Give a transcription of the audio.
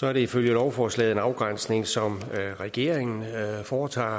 er det ifølge lovforslaget en afgrænsning som regeringen foretager og